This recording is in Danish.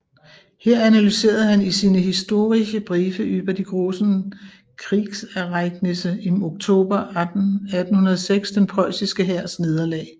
Her analyserede han i sine Historische Briefe über die großen Kriegsereignisse im October 1806 den preussiske hærs nederlag